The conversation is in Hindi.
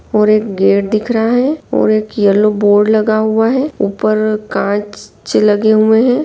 और एक गेट दिख रहा है और एक येलो बोर्ड लगा हुआ है ऊपर कांच लगे हुए है।